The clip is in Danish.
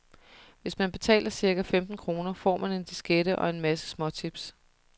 Hvis man betaler cirka femten kroner, får man en diskette og en masse småtips.